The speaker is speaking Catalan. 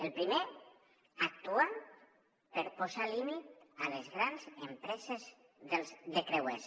el primer actuar per posar límit a les grans empreses de creuers